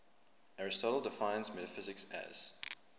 aristotle defines metaphysics as